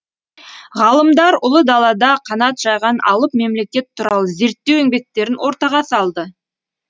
ғалымдар ұлы далада қанат жайған алып мемлекет туралы зерттеу еңбектерін ортаға салды